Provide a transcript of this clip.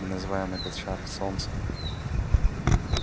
мы называем этот шар солнцем